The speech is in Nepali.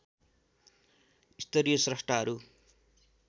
स्तरीय स्रष्टाहरू